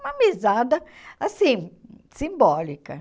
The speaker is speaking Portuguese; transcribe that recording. Uma mesada assim, simbólica.